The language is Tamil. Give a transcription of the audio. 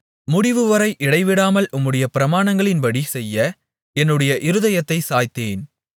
முடிவுவரை இடைவிடாமல் உம்முடைய பிரமாணங்களின்படி செய்ய என்னுடைய இருதயத்தைச் சாய்த்தேன்